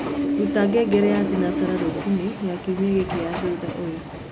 rũta ngengere ya thĩnacara rũcĩĩnĩ ya kĩumĩa giki ya thũtha ũyũ